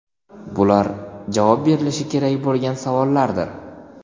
Bular javob berilishi kerak bo‘lgan savollardir.